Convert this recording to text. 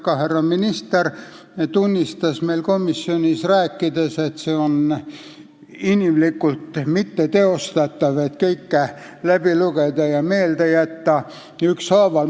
Ka härra minister tunnistas komisjonis, et on inimlikult mitteteostatav kõike läbi lugeda ja ükshaaval meelde jätta.